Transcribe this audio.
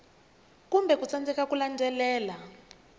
kumbe ku tsandzeka ku landzelela